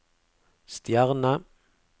stjerne